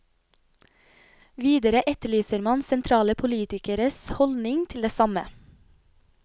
Videre etterlyser man sentrale politikeres holdning til det samme.